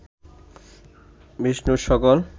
বিষ্ণুর সকল